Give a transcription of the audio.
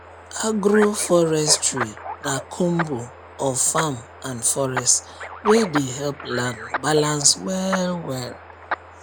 agroforestry na combo of farm and forest wey dey help land balance well well